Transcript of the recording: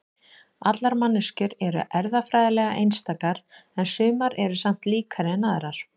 allar manneskjur eru erfðafræðilega einstakar en sumar eru samt líkari en aðrar